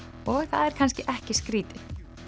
og það er kannski ekki skrítið